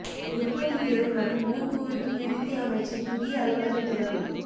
உற்பத்தி திறன் மற்றும் ஊக்குவிப்பு விருத்தி அமைச்சின் புதிய அலுவலகம் திறப்பு